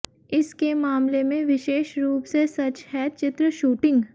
इस के मामले में विशेष रूप से सच है चित्र शूटिंग